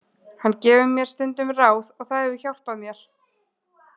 Hann gefur mér stundum ráð og það hefur hjálpað mér.